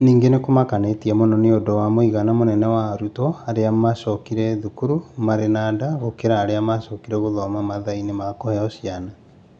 Ningĩ nĩ kũmakirie mũno nĩ ũndũ wa mũigana mũnene wa arutwo arĩa maacokire cukuru marĩ na nda gũkĩra arĩa maacokire gũthoma mathaa-inĩ ma kũheo ciana.